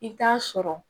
I t'a sɔrɔ